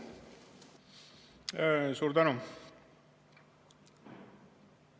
Suur tänu!